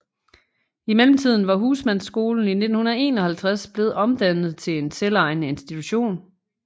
I mellemtiden var Husmandsskolen i 1951 blevet omdannet til en selvejende institution